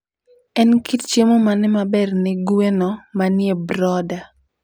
En kit chiemo mane maber ne gweno manie brooder?